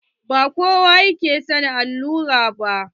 Ba kowa ke son allura ba.